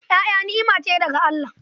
Ƴaƴa ni'ima ce daga Allah.